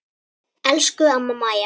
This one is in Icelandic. Elsku amma Mæja.